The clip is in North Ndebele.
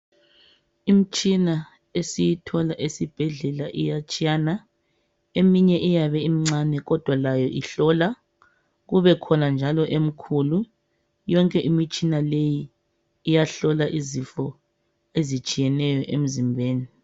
Imitshina esiyithola esibhedlela iyatshiyana, eminye iyabe imncane kodwa layo ihlola kubekhona njalo emikhulu, yonke imitshina leyi iyahlola izifo ezitshiyeneyo emzimbeni